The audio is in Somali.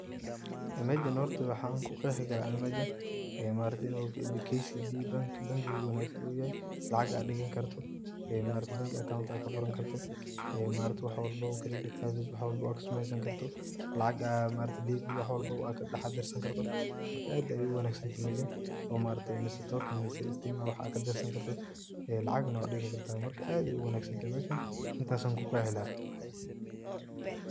Meshan hoorta maxa ku Qeexi karah Ani meeshan, ee maaragtay inu kcb bank bankiga ugu wanagsan oo yahay, lacag AA digani kartoh, ee maaragtay bank account AA kafuurani kartoh, ee maaragtay wax walbo mida Scarface wax walbo kasemeysani kartoh, lacag maaragtay AA ee wax walbo kadac darsani kartoh maarka aad Aya u wanagsantahay meshan, mise maaragtay tolken steema wax AA kadarsani kartoh, ee lacagnah wa digani kartah marka aad Aya u wanagsantahay meshan intaas Aya ku Qeexi lahay.